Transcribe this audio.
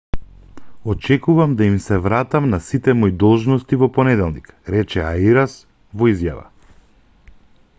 очекувам да им се вратам на сите мои должности во понеделник рече ариас во изјава